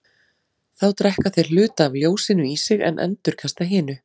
Þá drekka þeir hluta af ljósinu í sig en endurkasta hinu.